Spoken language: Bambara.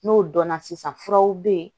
N'o dɔnna sisan furaw be ye